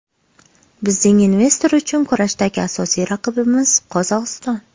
Bizning investor uchun kurashdagi asosiy raqibimiz Qozog‘iston.